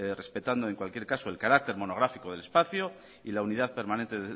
respetando en cualquier caso el carácter monográfico del espacio y la unidad permanente